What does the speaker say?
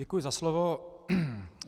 Děkuji za slovo.